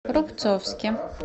рубцовске